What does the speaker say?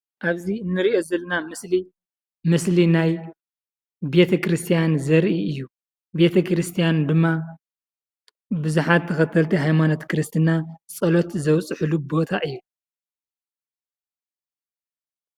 እብዚ እንሪኦ ዘለና ምስሊ ምስሊ ናይ ቤተክርስትያን ዘርኢ እዩ። ቤተክርስቲያን ድማ ብዙሓት ተኸተልቲ ሃይማኖት ክርስትና ፀሎት ዘብፅሕሉ ቦታ እዩ ።